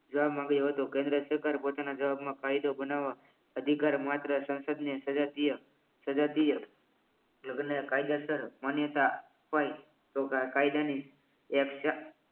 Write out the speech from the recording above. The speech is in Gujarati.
જવાબ માંગ્યો હતો કેન્દ્ર સરકારે પોતાના જવાબ માં કાયદો બનાવવા અધિકાર માત્ર સંસદને સજાતીય સજાતીય લગ્ન કાયદેસર માન્યતા અપાય તો કાયદાની એ